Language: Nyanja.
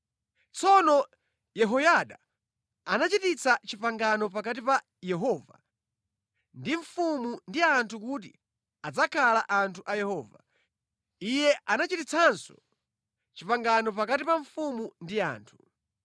Tsono Yehoyada anachititsa pangano pakati pa Yehova ndi mfumu ndi anthu kuti adzakhala anthu a Yehova. Iye anachititsanso pangano pakati pa mfumu ndi anthu.